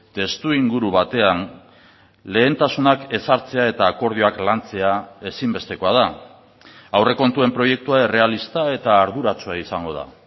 testuinguru batean lehentasunak ezartzea eta akordioak lantzea ezinbestekoa da aurrekontuen proiektua errealista eta arduratsua izango da